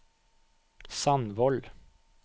Sandvold